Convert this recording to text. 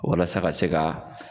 Walasa ka se ka